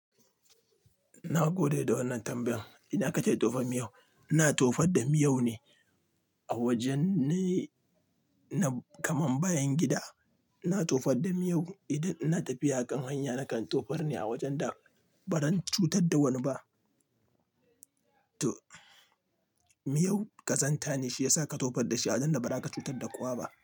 Na gode da wannan tambayan. Ina ka ke tofa miyau? Ina tofar da miyau ne a wajen ne kaman bayan gida. Ina tofar da miyau idan ina tafiya a kan hanya nakan tofar ne a wajen da baran cutar da wani ba. To miyau ƙazanta ne shi yasa ka tofar da shi a wajen da ba za ka cutar da kowa ba.